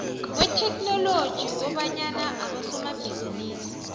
kwetheknoloji kobanyana abosomabhizinisi